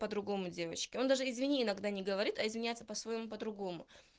по-другому девочки он даже извини иногда не говорит а извиняется по-своему по-другому